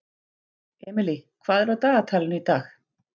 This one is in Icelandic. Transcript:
Emely, hvað er á dagatalinu í dag?